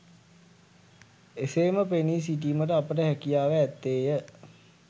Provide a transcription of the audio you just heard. එසේම පෙනී සිටීමට අපට හැකියාව ඇත්තේය.